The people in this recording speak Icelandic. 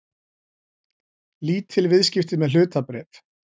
Lítil viðskipti með hlutabréf